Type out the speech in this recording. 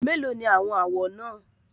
Méèló ni àwọn àwọ̀ náà?